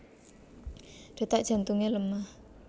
Detak jantunge lemah